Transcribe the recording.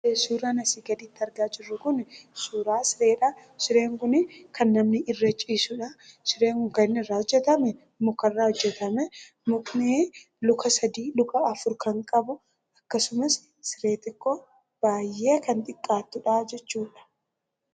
Suuraan asii gaditti argaa jirru kuni suuraa sireedha. Sireen kun kan namni irra ciisudha. Sireen kun muka irraa hojjetame. Mukni luka afur kan qabu akkasumas siree baay'ee kannxiqqaattudha jechuudha.